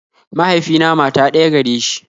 Mahaifina mata ɗaya gare shi